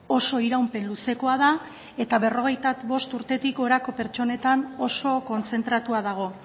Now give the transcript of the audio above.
oso iraupen luzekoa da eta berrogeita bost urtetik gorako pertsonetan oso kontzentratua dago